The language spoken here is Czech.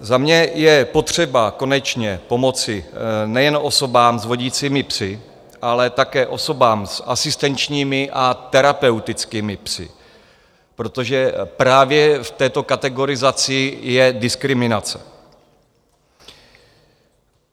Za mě je potřeba konečně pomoci nejen osobám s vodicími psy, ale také osobám s asistenčními a terapeutickými psy, protože právě v této kategorizaci je diskriminace.